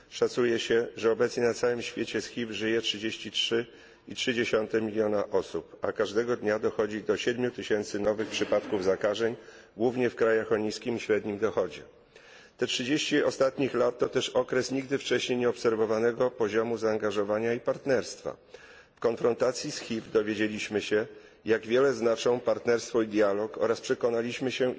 Szacuje się, że obecnie na całym świecie z HIV żyje 33,3 miliona osób, a każdego dnia dochodzi do 7 tysięcy nowych przypadków zakażeń, głównie w krajach o niskim i średnim dochodzie. Te 30 ostatnich lat to też okres nigdy wcześniej nieobserwowanego poziomu zaangażowania i partnerstwa. W konfrontacji z HIV dowiedzieliśmy się, jak wiele znaczą partnerstwo i dialog oraz przekonaliśmy się,